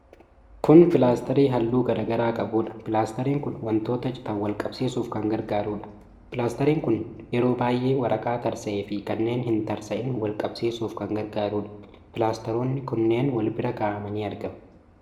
Kun pilaastarii halluu garaa garaa qabuudha. Pilaastariin kun wantoota citan wal qabsiisuuf kan gargaarudha. Pilaastariin kun yeroo baay'eee waraqaa tarsa'ee fi kanneen hin tarsa'in wal qabsiisuuf kan gargaarudha. Pilaastaroonni kunneen wal irra kaa'amanii argamu.